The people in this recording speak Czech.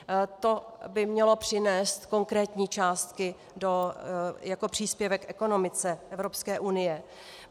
To by mělo přinést konkrétní částky jako příspěvek ekonomice Evropské unie.